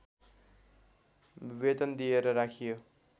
वेतन दिएर राखियो